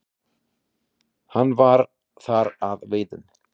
Hann var þar að veiðum.